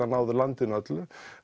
að ná landinu öllu